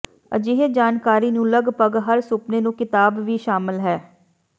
ਅਜਿਹੇ ਜਾਣਕਾਰੀ ਨੂੰ ਲਗਭਗ ਹਰ ਸੁਪਨੇ ਨੂੰ ਕਿਤਾਬ ਵੀ ਸ਼ਾਮਲ ਹੈ